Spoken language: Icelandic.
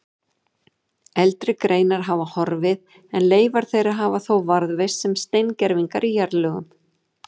Eldri greinar hafa horfið en leifar þeirra hafa þó varðveist sem steingervingar í jarðlögum.